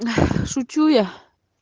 шучу я